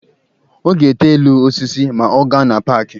Ọ ga-ete elu osisi ma ọ gaa na paaki.